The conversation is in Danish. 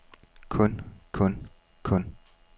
kun kun kun